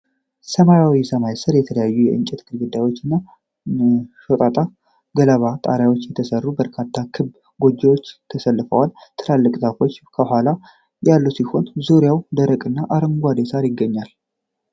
ሰማያዊ ሰማይ ስር፣ ከተለያዩ የእንጨት ግድግዳዎች እና ሾጣጣ ገለባ ጣሪያዎች የተሰሩ በርካታ ክብ ጎጆዎች ተሰልፈዋል። ትላልቅ ዛፎች ከኋላው ያሉ ሲሆን፣ ዙሪያውን ደረቅና አረንጓዴ ሣር ይገኛል።